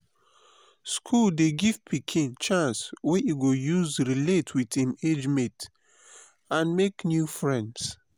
school dey give pikin chance wey e go use relate with im age mates and make new friends.